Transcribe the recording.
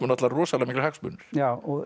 rosalega miklir hagsmunir já og